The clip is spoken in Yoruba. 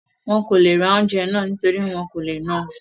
Wọn kò le ra oúnjẹ náà nítorí wọn kò le ná àn